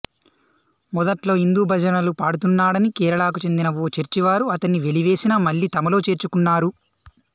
మొదట్లో హిందూ భజనలు పాడుతున్నాడని కేరళకు చెందిన ఓ చర్చి వారు అతన్ని వెలివేసినా మళ్ళీ తమలో చేర్చుకున్నారు